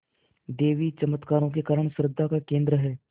देवी चमत्कारों के कारण श्रद्धा का केन्द्र है